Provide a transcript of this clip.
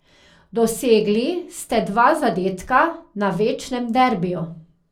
Dosegli ste dva zadetka na večnem derbiju.